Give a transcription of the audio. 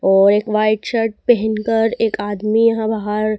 और एक white shirt पहन कर एक आदमी यहां बाहर--